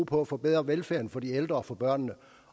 på at forbedre velfærden for de ældre og for børnene